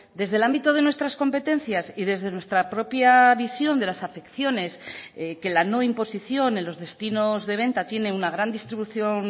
desde el ámbito de nuestras competencias y desde nuestra propia visión de las afecciones que la no imposición en los destinos de venta tiene una gran distribución